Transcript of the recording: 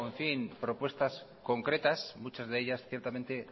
propuestas concretas muchas de ellas ciertamente